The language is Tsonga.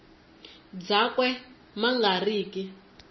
byakwe ma nga ri ki